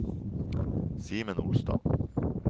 Simen Olstad